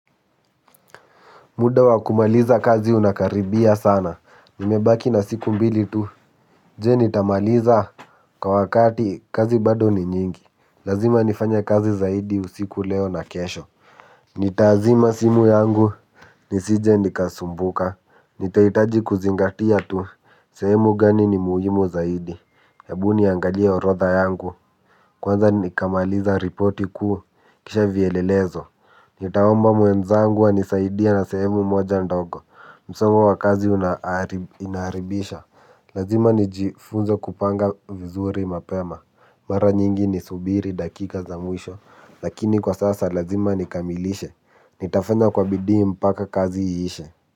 Muda wa kumaliza kazi unakaribia sana, nimebaki na siku mbili tu, je nitamaliza kwa wakati kazi bado ni nyingi, lazima nifanya kazi zaidi usiku leo na kesho. Nitaazima simu yangu, nisije nikasumbuka, nitaitaji kuzingatia tu, sehemu gani ni muhimu zaidi, ebuniangalia orotha yangu, kwanza nikamaliza ripoti ku, kisha vielelezo. Nitaomba muenzangu anisaidia na sehemu moja ndogo. Msomo wakazi inaharibisha. Lazima nijifunze kupanga vizuri mapema. Mara nyingi nisubiri dakika za mwisho. Lakini kwa sasa lazima nikamilishe. Nitafanya kwa bidi mpaka kazi iishe.